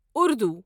Urdu